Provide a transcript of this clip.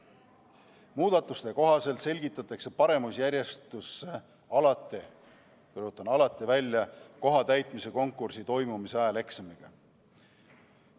Muudatuste kohaselt selgitatakse paremusjärjestus alati – rõhutan: alati – välja ametikoha täitmise konkursi toimumise ajal eksamiga.